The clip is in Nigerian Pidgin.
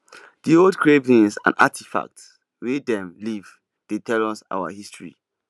di old carvings and artifacts wey dem leave dey tell us our history